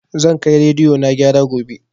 Zan kai rediyo na gyara gobe